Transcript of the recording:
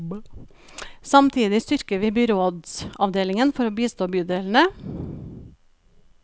Samtidig styrker vi byrådsavdelingen for å bistå bydelene.